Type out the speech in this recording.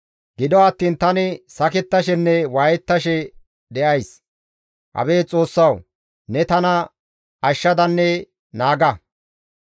Gido attiin tani sakettashenne waayettashe de7ays. Abeet Xoossawu! Ne tana ashshadanne naaga.